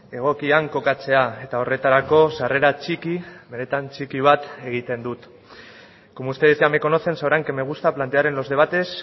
egokian kokatzea eta horretarako sarrera txiki benetan txiki bat egiten dut como ustedes ya me conocen sabrán que me gusta plantear en los debates